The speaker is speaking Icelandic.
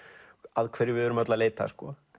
að hverju við erum öll að leita